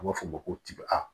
A b'a fɔ ma ko tibe